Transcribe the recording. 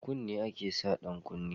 A kunne ake sa ɗan kunne